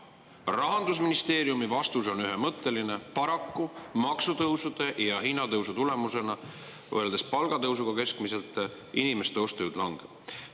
Rahandusministeeriumi vastus on ühemõtteline: paraku, kui võrrelda maksutõuse ja hinnatõusu palgatõusuga, keskmiselt inimeste ostujõud langeb.